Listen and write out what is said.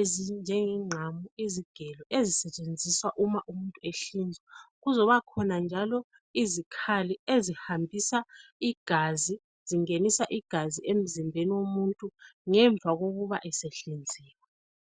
ezinjenge ngqamu izigelo ezisetshenziswa Uma umuntu ehlinzwa, kuzobakhona njalo izikhali ezihambisa igazi zingenisa igazi emzimbeni womuntu ngemva kokuba esehlinziwe.